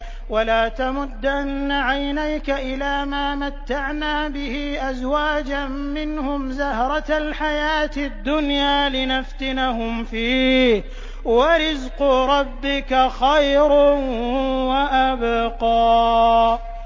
وَلَا تَمُدَّنَّ عَيْنَيْكَ إِلَىٰ مَا مَتَّعْنَا بِهِ أَزْوَاجًا مِّنْهُمْ زَهْرَةَ الْحَيَاةِ الدُّنْيَا لِنَفْتِنَهُمْ فِيهِ ۚ وَرِزْقُ رَبِّكَ خَيْرٌ وَأَبْقَىٰ